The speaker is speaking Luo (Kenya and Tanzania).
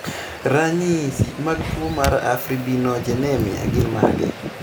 Ranyisi mag tuwo mar Afibrinogenemia gin mage?